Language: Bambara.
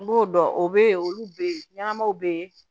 N b'o dɔn o be ye olu be yen ɲɛnamaw be yen